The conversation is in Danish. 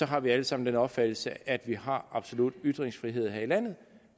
har vi alle sammen den opfattelse at vi har absolut ytringsfrihed her i landet